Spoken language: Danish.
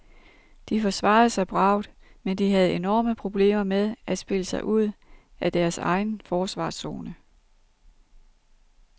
De forsvarede sig bravt, men havde enorme problemer med at spille sig ud af deres egen forsvarszone.